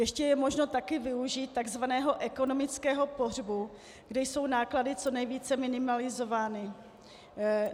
Ještě je možno také využít tzv. ekonomického pohřbu, kdy jsou náklady co nejvíce minimalizovány.